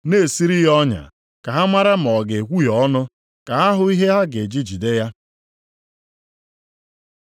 na-esiri ya ọnya, ka ha mara ma ọ ga-ekwuhie ọnụ, ka ha hụ ihe ha ga-eji jide ya.